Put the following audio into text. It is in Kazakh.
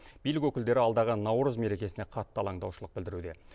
билік өкілдері алдағы наурыз мерекесіне қатты алаңдаушылық білдіруде